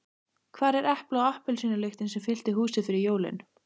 Hvar er epla- og appelsínulyktin sem fyllti húsið fyrir jólin?